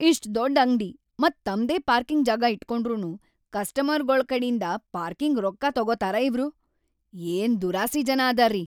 ಇಷ್ಟ್‌ ದೊಡ್ಡ್‌ ಅಂಗ್ಡಿ ಮತ್ ತಮ್ದೇ ಪಾರ್ಕಿಂಗ್‌ ಜಾಗಾ ಇಟ್ಗೊಂಡ್ರುನೂ ಕಸ್ಟಮರ್ಗೊಳ ಕಡಿಂದ ಪಾರ್ಕಿಂಗ್‌ ರೊಕ್ಕಾ ತೊಗೊತಾರ ಇವ್ರು? ಏನ್‌ ದುರಾಸಿ ಜನ ಅದಾರ್ರೀ!